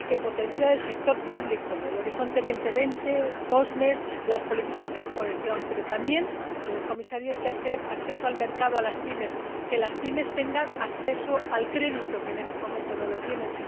Hay que potenciar el sector público, el Horizonte 2020, el programa COSME y las políticas de cohesión, pero también, señor Comisario, hay que dar acceso al mercado a las PYME, hacer que las PYME tengan acceso al crédito, porque en este momento no lo tienen.